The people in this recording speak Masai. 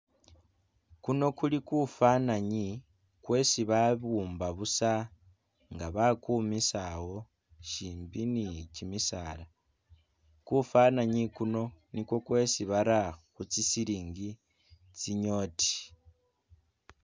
Kuno kuli kufananyi kwesibabumba busa nga'bakumisa awo shimbi ni'kyimisaala kufananyi kuno nikwo kwesi bara khutsisilingi kyinyoti